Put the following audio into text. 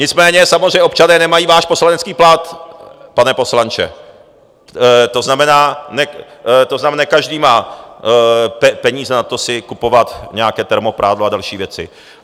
Nicméně samozřejmě občané nemají váš poslanecký plat, pane poslanče, to znamená, ne každý má peníze na to, si kupovat nějaké termoprádlo a další věci.